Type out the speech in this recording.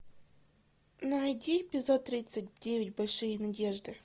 найди эпизод тридцать девять большие надежды